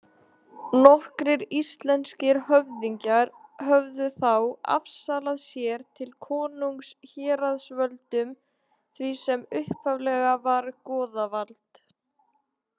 Nokkrir íslenskir höfðingjar höfðu þá afsalað sér til konungs héraðsvöldum, því sem upphaflega var goðavald.